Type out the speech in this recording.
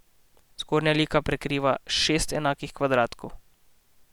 Zgornja lika prekriva šest enakih kvadratkov.